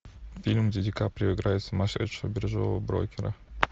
фильм где ди каприо играет сумасшедшего биржевого брокера